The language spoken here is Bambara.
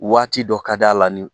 Waati dɔ ka d'a la nin